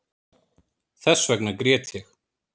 Þessvegna grét ég